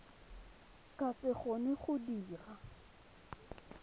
ka se kgone go dira